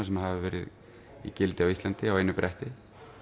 sem hafa verið í gildi á Íslandi á einu bretti